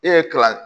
E ye kalan